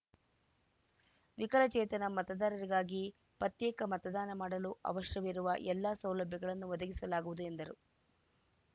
ವಿಕಲಚೇತನ ಮತದಾರರಿಗಾಗಿ ಪತ್ಯೇಕ ಮತದಾನ ಮಾಡಲು ಅವಶ್ಯವಿರುವ ಎಲ್ಲ ಸೌಲಭ್ಯಗಳನ್ನು ಒದಗಿಸಲಾಗುವುದು ಎಂದರು